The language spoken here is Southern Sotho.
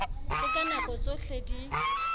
se ka nako tsohle di